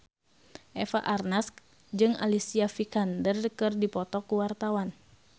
Eva Arnaz jeung Alicia Vikander keur dipoto ku wartawan